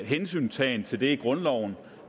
hensyntagen til det i grundloven